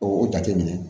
O jate minɛ